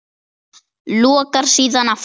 Lokar síðan aftur.